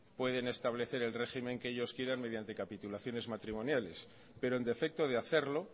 pueden establecer el régimen que ellos quieran mediante capitulaciones matrimoniales pero en defecto de hacerlo